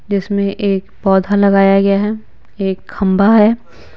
जिसमें एक पौधा लगाया गया है एक खंबा है। ]